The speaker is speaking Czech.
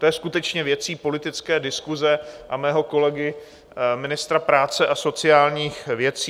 To je skutečně věcí politické diskuse a mého kolegy, ministra práce a sociálních věcí.